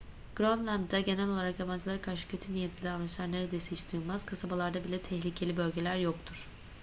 grönland'da genel olarak yabancılara karşı kötü niyetli davranışlar neredeyse hiç duyulmaz kasabalarda bile tehlikeli bölgeler yoktur